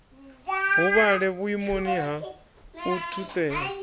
huvhale vhuimoni ha u thusea